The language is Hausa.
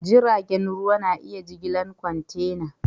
Jiragen ruwa na iya jigilar kwantena.